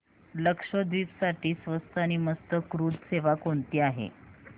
लक्षद्वीप साठी स्वस्त आणि मस्त क्रुझ सेवा कोणती आहे